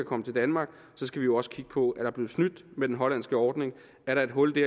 komme til danmark skal vi jo også kigge på er blevet snydt med den hollandske ordning er der et hul